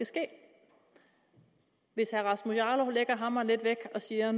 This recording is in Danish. ske hvis herre rasmus jarlov lægger hammeren lidt væk og siger at